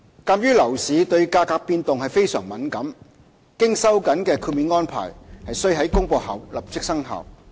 鑒於樓市對價格變動非常敏感，經收緊的豁免安排須於公布後立即生效。